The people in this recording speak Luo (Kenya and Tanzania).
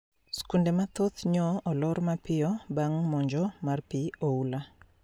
Skunde mathoth nyo olor mapiyo bang` monj mar pi oula